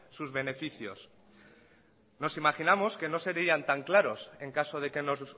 sus beneficios nos imaginamos que no serian tan claros en caso de que nos